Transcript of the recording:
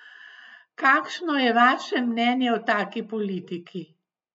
Kakšno je vaše mnenje o taki politiki?